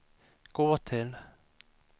gå till